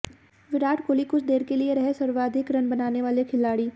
विराट कोहली कुछ देर के लिए रहे सर्वाधिक रन बनाने वाले खिलाड़ी